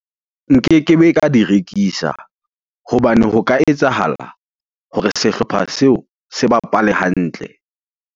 Nkekebe ka di rekisa hobane ho ka etsahala hore sehlopha seo se bapale hantle.